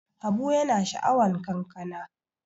Habu yana sha'awan kankana.